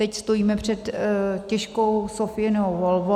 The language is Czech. Teď stojíme před těžkou Sophiinou volbou.